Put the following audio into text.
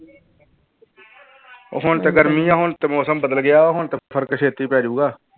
ਉਹ ਹੁਣ ਤੇ ਗਰਮੀ ਹੈ ਹੁਣ ਤੇ ਮੌਸਮ ਬਦਲ ਗਿਆ ਹੁਣ ਤੇ ਫ਼ਰਕ ਛੇਤੀ ਪੈ ਜਾਊਗਾ।